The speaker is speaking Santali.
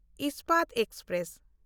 ᱤᱥᱯᱟᱛ ᱮᱠᱥᱯᱨᱮᱥ